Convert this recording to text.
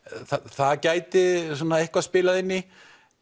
það gæti eitthvað spilað inn í